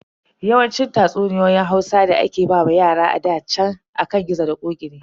Yawancin tatsuniyoyin Hausa da ake wa yara a ɗa chan akan gizo da ƙoƙi ne.